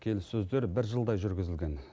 келіссөздер бір жылдай жүргізілген